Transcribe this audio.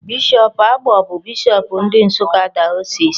Bishop Agbo bụ bishop ndị Nsụka Diocese.